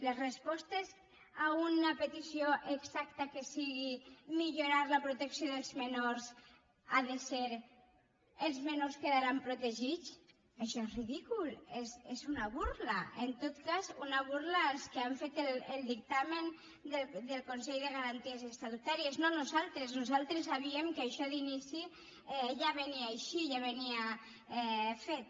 les respostes a una petició exacta que sigui millorar la protecció dels menors ha de ser els menors quedaran protegits això és ridícul és una burla en tot cas una burla als que han fet el dictamen del consell de garanties estatutàries no nosaltres nosaltres sabíem que això d’inici ja venia així ja venia fet